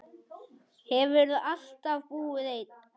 Hefurðu alltaf búið einn?